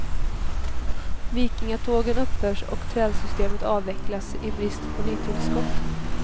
Vikingatågen upphör och trälsystemet avvecklas i brist på nytillskott.